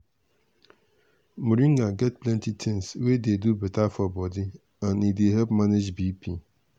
moringa get plenty things wey dey do beta for body and e dey help manage bp.